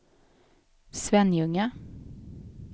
Svenljunga